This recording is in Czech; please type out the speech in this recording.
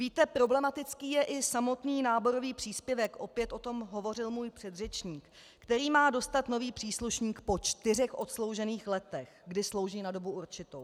Víte, problematický je i samotný náborový příspěvek - opět o tom hovořil můj předřečník - který má dostat nový příslušník po čtyřech odsloužených letech, kdy slouží na dobu určitou.